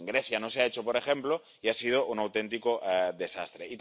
En Grecia no se ha hecho, por ejemplo, y ha sido un auténtico desastre.